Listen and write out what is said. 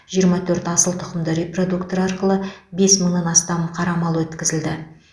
жиырма төрт асыл тұқымды репродуктор арқылы бес мыңнан астам қара мал өткізілді